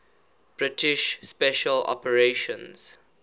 british special operations